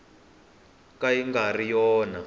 ka yi nga ri yona